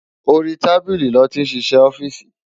Óri tábili lòti n sisè òfìsí